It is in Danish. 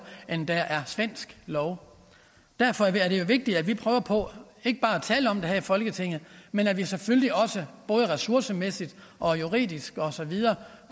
end der er svensk lov derfor er det vigtigt at vi prøver på ikke bare at tale om det her i folketinget men at vi selvfølgelig også både ressourcemæssigt og juridisk og så videre